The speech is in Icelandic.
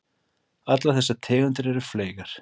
Allar þessar tegundir eru fleygar.